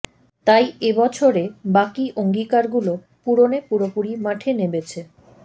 তাই এ বছরে বাকী অঙ্গীকারগুলো পূরণে পুরোপুরি মাঠে নেমেছে